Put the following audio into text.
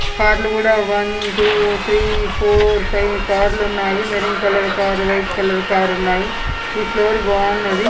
Car లు కూడా one two three four five car లున్నాయి. Maroon colour car white colour car ఉన్నాయి. ఈ ఫ్లోర్ బాగున్నది.